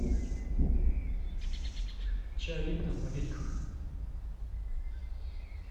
чай липтон в пакетиках